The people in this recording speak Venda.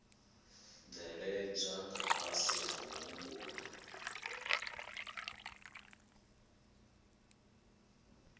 bveledzwa nga fhasi ha muhumbulo